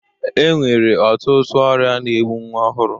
E nwere ọtụtụ ọrịa na-egbụ nnwa ọhụrụ.